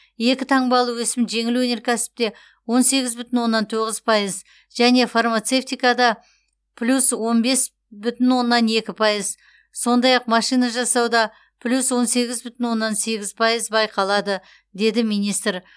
екі таңбалы өсім жеңіл өнеркәсіпте он сегіз бүтін оннан тоғыз пайыз және фармацевтикада плюс он бес бүтін оннан екі пайыз сондай ақ машина жасауда плюс он сегіз бүтін оннан сегіз пайыз байқалады деді министр